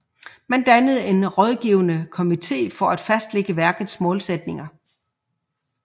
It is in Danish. Man dannede en rådgivende kommitté for at fastlægge værkets målsætninger